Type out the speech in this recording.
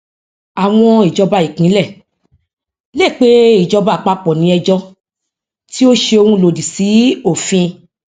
àwọn ìjọba ìpínlẹ lè pé ìjọba àpapọ ní ejò tí ó ṣe òun lòdì sí òfin